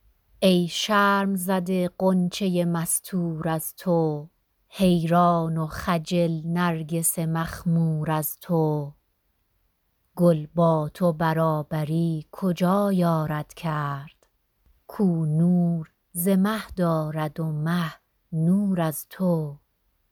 ای شرم زده غنچه ی مستور از تو حیران و خجل نرگس مخمور از تو گل با تو برابری کجا یارد کرد کـ او نور ز مه دارد و مه نور از تو